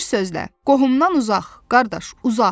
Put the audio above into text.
Bir sözlə, qohumdan uzaq, qardaş uzaq.